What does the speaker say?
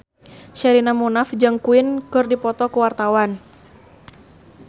Sherina Munaf jeung Queen keur dipoto ku wartawan